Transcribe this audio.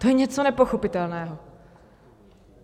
To je něco nepochopitelného.